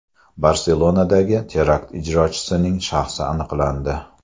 Barselonadagi terakt ijrochisining shaxsi aniqlandi.